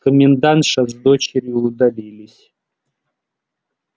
комендантша с дочерью удалились